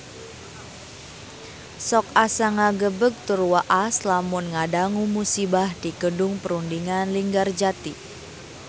Sok asa ngagebeg tur waas lamun ngadangu musibah di Gedung Perundingan Linggarjati